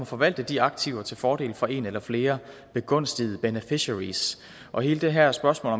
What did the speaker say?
forvalte de aktiver til fordel for en eller flere begunstigede beneficiaries og hele det her spørgsmål